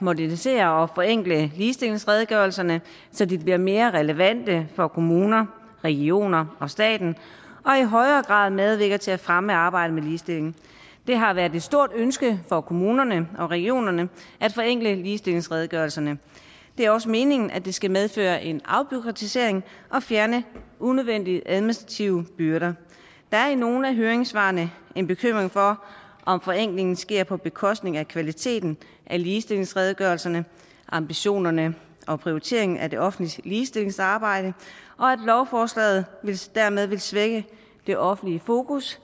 modernisere og forenkle ligestillingsredegørelserne så de bliver mere relevante for kommuner regioner og staten og i højere grad medvirker til at fremme arbejdet med ligestilling det har været et stort ønske fra kommunerne og regionerne at forenkle ligestillingsredegørelserne det er også meningen at det skal medføre en afbureaukratisering og fjerne unødvendige administrative byrder der er i nogle af høringssvarene en bekymring for om forenklingen sker på bekostning af kvaliteten af ligestillingsredegørelserne af ambitionerne og prioriteringen af det offentliges ligestillingsarbejde og at lovforslaget dermed vil svække det offentliges fokus